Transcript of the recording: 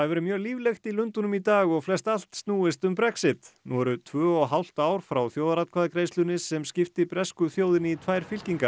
verið mjög líflegt í Lundúnum í dag og flest allt snúist um Brexit nú eru tvö og hálft ár frá þjóðaratkvæðagreiðslunni sem skipti bresku þjóðinni í tvær fylkingar